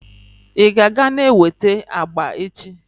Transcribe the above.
ị ka ga na-eweta agba echi?